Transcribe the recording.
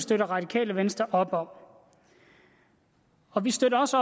det radikale venstre op om og vi støtter også